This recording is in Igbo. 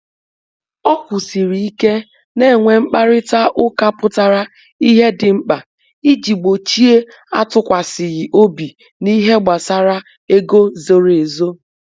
O kwụsịrị ike na inwe mkparịta ụka pụtara ìhè dị mkpa iji gbochie atukwasighi obi na ihe gbasara ego zoro ezo